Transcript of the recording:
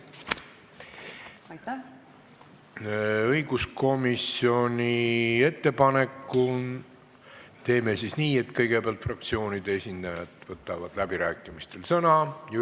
Õiguskomisjoni ettepanekul teeme siis nii, et kõigepealt võtavad läbirääkimistel sõna fraktsioonide esindajad.